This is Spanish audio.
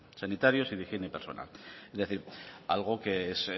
sanitarios y de higiene personal es decir algo que es